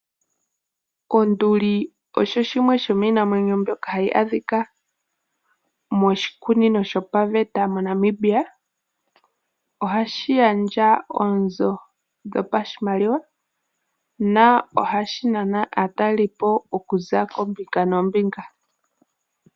Onduli osho shimwe shomiinamwenyo mbyoka hayi adhika moshikunino shopaveta moNambia. Ohashi gandja oonzo dhopashimaliwa, na ohashi nana aatalelipo okuza koombinga noombinga.